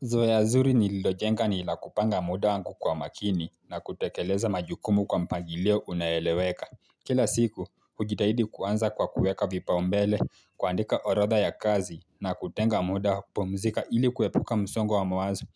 Zoea zuri nililojenga ni la kupanga muda wangu kwa makini na kutekeleza majukumu kwa mpangilio unayoleweka. Kila siku, hujitahidi kuanza kwa kueka vipau mbele, kuandika orodha ya kazi na kutenga muda pumzika ili kuepuka msongo wa mawazo.